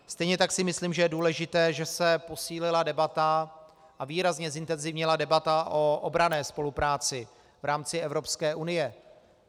Stejně tak si myslím, že je důležité, že se posílila debata a výrazně zintenzivnila debata o obranné spolupráci v rámci Evropské unie.